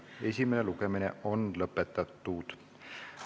Esimene lugemine on lõpetatud.